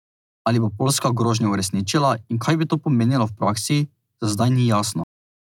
Ali bo Poljska grožnjo uresničila in kaj bi to pomenilo v praksi, za zdaj ni jasno.